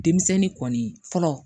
Denmisɛnnin kɔni fɔlɔ